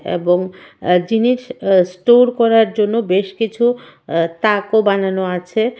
এবং আঃ জিনিস আঃ স্টোর করার জন্য বেশ কিছু আঃ তাকও বানানো আছে।